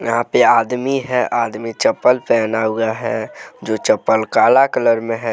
यहां पे आदमी हैंआदमी चप्पल पहना हुआ हैं जो चप्पल काला कलर में हैं।